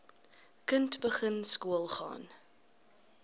kind begin skoolgaan